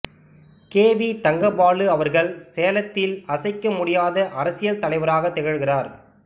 K V Thangabalu அவர்கள் சேலத்தில் அசைக்க முடியாத அரசியல் தலைவராக திகழ்கிறார்